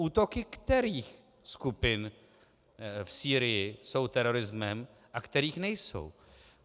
Útoky kterých skupin v Sýrii jsou terorismem a kterých nejsou?